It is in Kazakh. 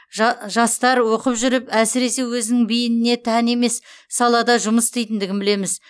жа жастар оқып жүріп әсіресе өзінің бейініне тән емес салада жұмыс істейтіндігін білеміз